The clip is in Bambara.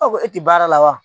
e tɛ baara la wa?